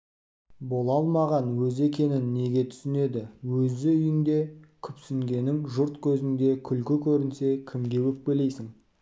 бола алмаған өзі екенін неге түсінеді өз үйіңде күпсінгенің жұрт кезінде күлкі көрінсе кімге өкпелейсің